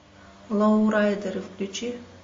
лоурайдеры включи